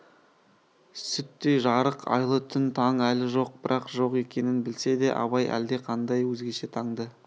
сүттей жарық айлы түн таң әлі жоқ бірақ жоқ екенін білсе де абай әлде қандай өзгеше таңды